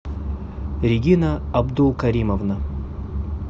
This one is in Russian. регина абдулкаримовна